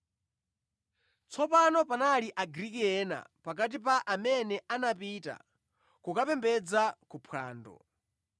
Tsopano panali Agriki ena pakati pa amene anapita kukapembedza ku phwando.